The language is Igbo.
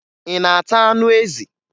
Ị na-ata anụ ezi?